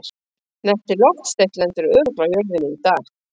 Næsti loftsteinn lendir örugglega á jörðinni í dag!